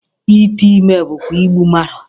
Ite ime bụkwa igbu mmadụ